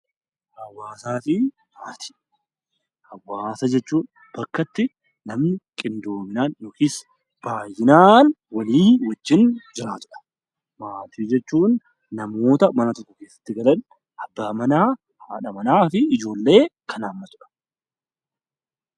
Hawaasaa fi Maatii Hawaasa jechuun bakka itti namoonni qindoominaan yookiis baay'inaan walii wajjin jiraatu dha. Maatii jechuun namoota mana tokko keessatti galan abbaa manaa, haadha manaa fi ijoollee kan hammatu dha.